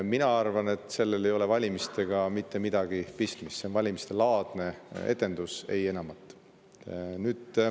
Mina arvan, et sellel ei ole valimistega mitte midagi pistmist, see on valimiste-laadne etendus, ei enamat.